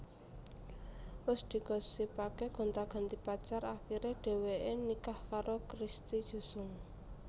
Wus digosipaké gonta ganti pacar akiré dheweké nikah karo Christy Jusung